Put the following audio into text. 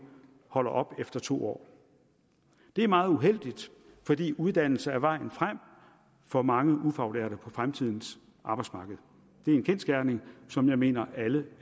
holder op efter to år det er meget uheldigt fordi uddannelse er vejen frem for mange ufaglærte på fremtidens arbejdsmarked det er en kendsgerning som jeg mener at alle